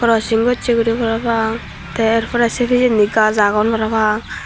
krosingg gosay guri para pang tey say pora pejandi gaas agon para pang.